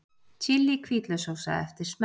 Chili hvítlaukssósa eftir smekk